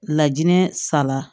Lajinɛ sala